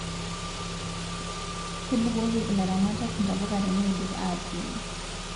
Kebukoki ilaramatak ntapuka teneidip atuun